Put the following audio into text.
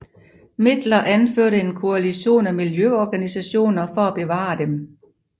Midler anførte en koalition af miljøorganisationer for at bevare dem